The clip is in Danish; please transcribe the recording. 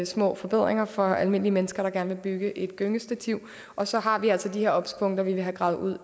små forbedringer for almindelige mennesker der gerne vil bygge et gyngestativ og så har vi altså de her obs punkter vi vil have gravet